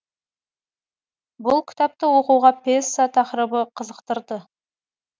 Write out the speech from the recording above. бұл кітапты оқуға пьеса тақырыбы қызықтырды